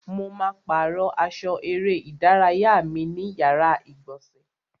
Mo ma pàrọ́ aṣọ eré ìdárayá mi ní yàrá ìgbọ̀nsẹ̀.